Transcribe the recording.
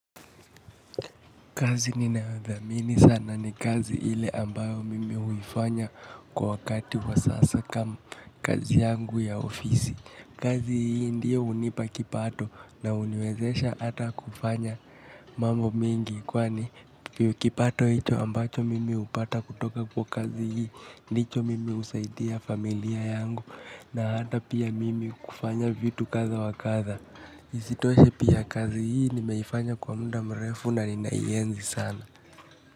Kazi ninayodhamini sana ni kazi ile ambayo mimi huifanya kwa wakati wa sasa kama kazi yangu ya ofisi. Kazi hii ndiyo hunipa kipato na huniwezesha ata kufanya mambo mengi. Kwa ni kipato hicho ambacho mimi hupata kutoka kwa kazi hii, ndicho mimi husaidia familia yangu na ata pia mimi kufanya vitu kadha wakadha. Isitoshe pia kazi hii nimeifanya kwa muda mrefu na ninaienzi sana.